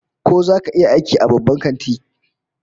Ko zaka iya aiki a babban kanti?